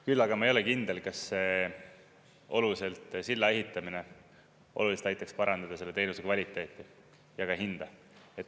Küll aga ma ei ole kindel, kas see oluliselt, selle silla ehitamine oluliselt aitaks parandada teenuse kvaliteeti ja ka hinda.